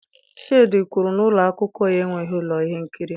Shade kwuru na ụlọ akwụkwọ ya enweghị ụlọ ihe nkiri